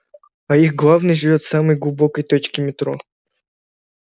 а их главный живёт в самой глубокой точке метро